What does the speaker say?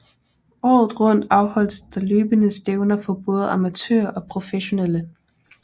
Året rundt afholdes der løbende stævner for både amatører og professionelle